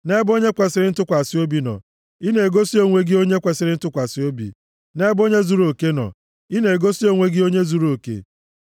Nʼebe onye kwesiri ntụkwasị obi nọ, i na-egosi onwe gị onye kwesiri ntụkwasị obi, nʼebe onye zuruoke nọ, ị na-egosi onwe gị onye zuruoke.